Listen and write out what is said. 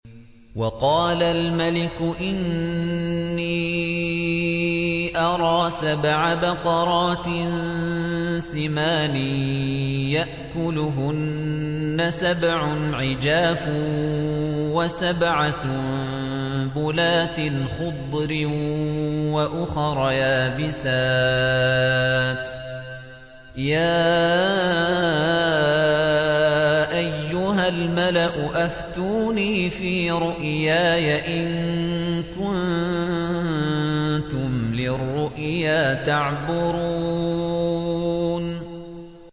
وَقَالَ الْمَلِكُ إِنِّي أَرَىٰ سَبْعَ بَقَرَاتٍ سِمَانٍ يَأْكُلُهُنَّ سَبْعٌ عِجَافٌ وَسَبْعَ سُنبُلَاتٍ خُضْرٍ وَأُخَرَ يَابِسَاتٍ ۖ يَا أَيُّهَا الْمَلَأُ أَفْتُونِي فِي رُؤْيَايَ إِن كُنتُمْ لِلرُّؤْيَا تَعْبُرُونَ